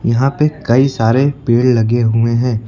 यहां पे कई सारे पेड़ लगे हुए हैं।